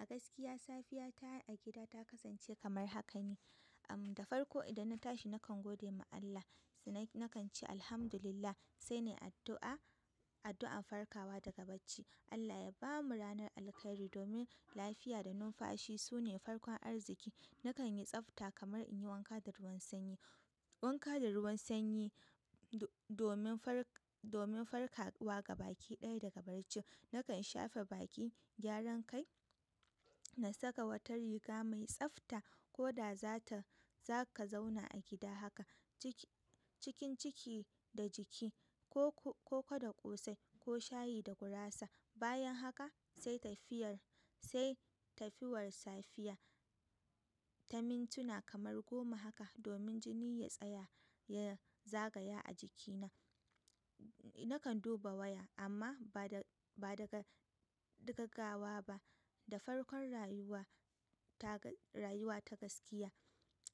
A gaskiya safiya ta takasance kamar haka ne, am da farko idan na tashi nakan godema Allah. Sannan na nakan ce alhamdulillah sai nai addu'a, addu'an farkawa daga bacci. Allah ya bamu ranar alkhairi domin lafiya da numfashi sune farkon arziki. Nakan yi tsafta kamar in yi wanka da ruwan sanyi. Wanka da ruwan sanyi do-domin farka, domin farka wa gaba ki ɗaya daga bacci. Nakan shafe baki, gyaran kai, na saka wata riga mai tsafta ko da za ta zaka zauna a gida haka. Ciki cikin ciki da jiki ko ko koda ƙosai ko shayi da gurasa. Bayan haka sai tafiyar, sai tafiyar safiya, ta mintuna kamar goma haka domin jini ya tsaya, ya zagaya a jikina. Nakan duba waya amma ba da, ba daga, daga gawa ba. Da farkon rayuwa ta rayuwa ta gaskiya.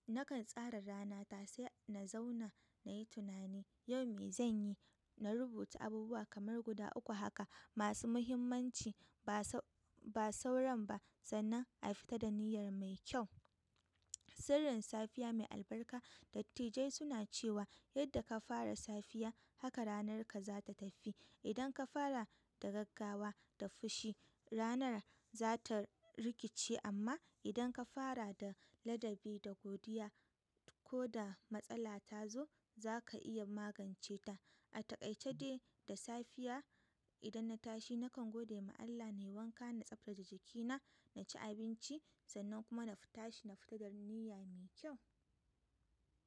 Nakan tsara ranata sai na zauna na yi tunani yau me zanyi. Na rubuta abubuwa kamar guda uku haka masu muhimmanci ba sau, ba sauran ba sannan a fita da niyyar mai kyau. Sirrin safiya mai albarka, dattijai suna cewa yadda ka fara safiya haka ranarka za ta tafi. Idan ka fara da gaggawa da fushi, ranar za ta rikice amma idan ka fara da ladabi da godiya ko da matsala ta zo zaka iya maganceta. A takaice dai da safiya idan na tashi nakan gode ma Allah na yi wanka, na tsaftace jikina, na ci abinci sannan kuma na tashi na fita da niyya mai kyau.